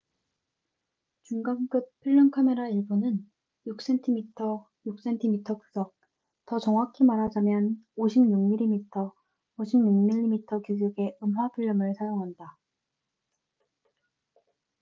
중간급 필름 카메라 일부는 6cmx6cm 규격 더 정확히 말하자면 56mmx56mm 규격의 음화 필름을 사용한다